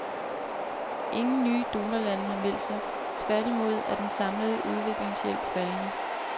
Ingen nye donorlande har meldt sig, tværtimod er den samlede udviklingshjælp faldende.